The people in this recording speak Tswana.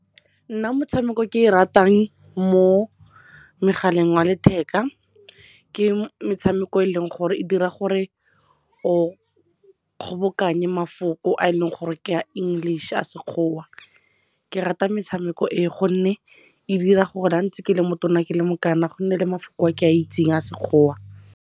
Nna motshameko e ke e ratang mo mogaleng wa letheka ke metshameko eleng gore e dira gore o kgobokanye mafoko a e leng gore ke ya English, a sekgowa. Ke rata metshameko e gonne e dira gore ga ntse ke le mo tona ke le mokana go nne le mafoko a ke a itseng a sekgowa.